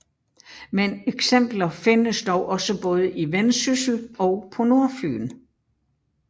Men eksempler findes dog også både i Vendsyssel og på Nordfyn